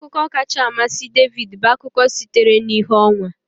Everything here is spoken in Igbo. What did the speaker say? Akụkọ kacha amasị David bụ akụkọ sitere na ìhè ọnwa